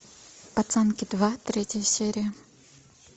пацанки два третья серия